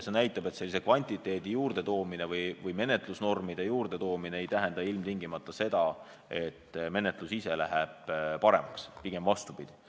See näitab, et kvantiteet või menetlusnormide juurdeloomine ei tähenda ilmtingimata seda, et menetlus ise läheb paremaks, pigem vastupidi.